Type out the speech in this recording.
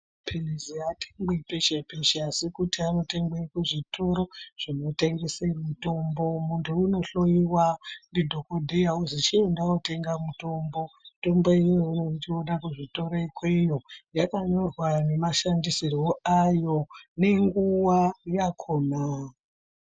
Mapilizi aatengwi peshe peshe asi kuti anotengere kuzvitoro zvinotengese mutombo muntu unohloiwa ndidhokoteya ozi chienda unotenga mutombo mitombo imweni tinoona kuzvitoro ikweyo yakanyorwa nemashandisirwe ayo nenguwa yakhona.